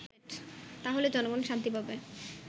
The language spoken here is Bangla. তাহলে জনগন শান্তি পাবে